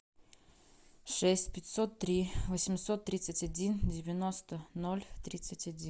шесть пятьсот три восемьсот тридцать один девяносто ноль тридцать один